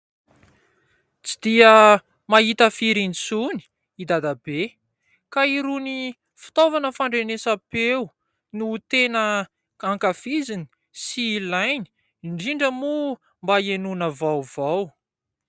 Tsy dia mahita firy intsony i dadabe ; ka irony fitaovana fandrenesam-peo no tena ankafiziny sy ilainy ; indrindra moa mba hienoana vaovao.